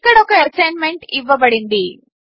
ఇక్కడొక అసైన్మెంట్ ఇవ్వబడింది